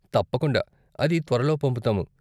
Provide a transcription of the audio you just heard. తప్పకుండా, అది త్వరలో పంపుతాము.